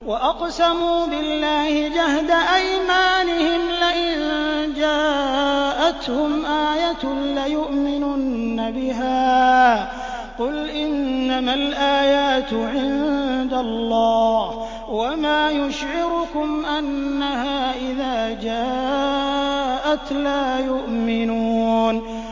وَأَقْسَمُوا بِاللَّهِ جَهْدَ أَيْمَانِهِمْ لَئِن جَاءَتْهُمْ آيَةٌ لَّيُؤْمِنُنَّ بِهَا ۚ قُلْ إِنَّمَا الْآيَاتُ عِندَ اللَّهِ ۖ وَمَا يُشْعِرُكُمْ أَنَّهَا إِذَا جَاءَتْ لَا يُؤْمِنُونَ